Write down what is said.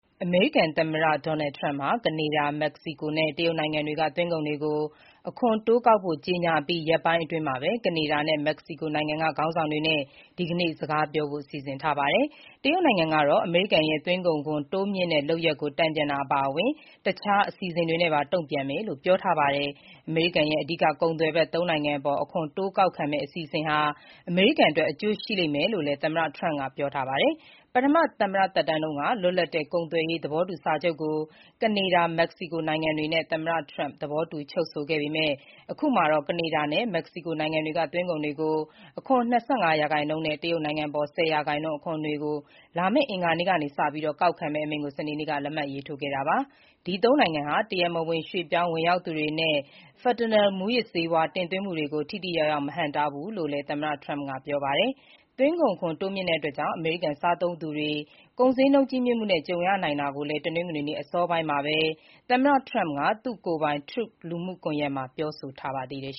အမေရိကန်သမ္မတ Donald Trump ဟာ ကနေဒါ၊ မက္ကဆီကိုနဲ့ တရုတ်နိုင်ငံတွေကသွင်းကုန်တွေကို အခွန်တိုးကောက်ဖို့ကြေညာအပြီး ရက်ပိုင်းအတွင်းမှာပဲ ကနေဒါနဲ့ မက္ကဆီကိုနိုင်ငံတွေက ခေါင်းဆောင်တွေနဲ့ ဒီနေ့ စကားပြောဖို့ စီစဉ်ထားပါတယ်။ တရုတ်နိုင်ငံကတော့ အမေရိကန်ရဲ့ သွင်းကုန်ခွန်တိုးမြှင့်တဲ့လုပ်ရပ်ကို တန်ပြန်တာအပါအဝင် တခြားအစီအစဉ်တွေနဲ့ပါ တုံ့ပြန်မယ်လို့ ပြောထားတာပါ။ အမေရိကန်ရဲ့ အဓိက ကုန်သွယ်ဖက် (၃) နိုင်ငံအပေါ် အခွန်တိုးကောက်မယ့်အစီအစဉ်ဟာ အမေရိကန်အတွက် အကျိုးရှိလိမ့်မယ်လို့လည်း သမ္မတ Trump ကပြောထားပါတယ်။ ပထမသမ္မတသက်တမ်းတုန်းက လွတ်လပ်တဲ့ကုန်သွယ်ရေးသဘောတူစာချုပ်ကို ကနေဒါ၊ မက္ကဆီကို နိုင်ငံတွေနဲ့ သမ္မတ Trump သဘောတူချုပ်ဆိုခဲ့ပေမဲ့ အခုမှာတော့ ကနေဒါနဲ့မက္ကဆီကိုနိုင်ငံတွေက သွင်းကုန်တွေကို အခွန် ၂၅ ရာခိုင်နှုန်းနဲ့ တရုတ်နိုင်ငံအပေါ် ၁၀ ရာခိုင်နှုန်း အခွန်တွေကို လာမယ့် အင်္ဂါနေ့ကစပြီး ကောက်ခံမယ့်အမိန့်ကို စနေနေ့က လက်မှတ်ထိုးခဲ့တာပါ။ ဒီသုံးနိုင်ငံဟာ တရားမဝင် ရွှေ့ပြောင်းဝင်ရောက်သူတွေနဲ့ fentanyl မူးယစ်ဆေးဝါး တင်သွင်းမှုတွေကို ထိထိရောက်ရောက် မဟန့်တားဘူးလို့လည်း သမ္မတ Trump က ပြောပါတယ်။ သွင်းကုန်ခွန် တိုးမြှင့် မှုကြောင့် အမေရိကန်စားသုံးသူတွေ ကုန်ဈေးနှုန်းကြီးမြင့်မှုနဲ့ ကြုံရနိုင်တာကိုလည်း တနင်္ဂနွေနေ့ အစောပိုင်းမှာပဲ သမ္မတ Trump က သူ့ကိုယ်ပိုင် Truthလူမှုကွန်ယက်မှာ ပြောထားပါတယ်။